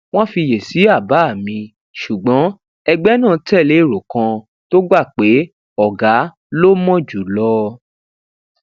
wón fiyèsí àbá mi ṣùgbọn ẹgbẹ náà tèlé èrò kan tó gbà pé ògá ló mò jùlọ